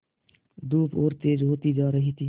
धूप और तेज होती जा रही थी